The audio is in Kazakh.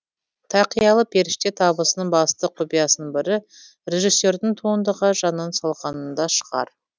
тақиялы періште табысының басты құпиясының бірі режиссердің туындыға жанын салғанында шығар